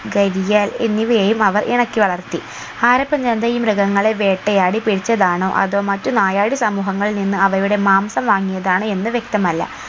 ഗരിയാൽ എന്നിവയെയും അവർ ഇണക്കി വളർത്തി ഹാരപ്പൻ ജനത ഈ മൃഗങ്ങളെ വേട്ടയാടി പിടിച്ചതാണോ അതോ മറ്റ് നായാടി സമൂഹങ്ങളിൽ നിന്ന് അവയുടെ മാംസം വാങ്ങിയാതാണോ എന്ന് വ്യക്തമല്ല